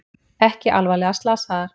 Ekki alvarlega slasaðar